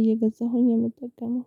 እየገዛሁኝ የምጠቀመው